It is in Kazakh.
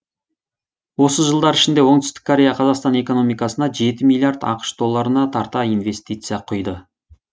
осы жылдар ішінде оңтүстік корея қазақстан экономикасына жеті миллиард ақш долларына тарта инвестиция құйды